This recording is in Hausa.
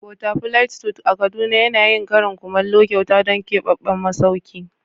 Butterfly suit a kaduna tana yin karin kumallo kyauta don keɓaɓɓen masauki.